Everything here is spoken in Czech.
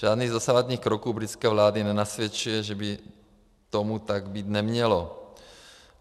Žádný z dosavadních kroků britské vlády nenasvědčuje, že by tomu tak být nemělo.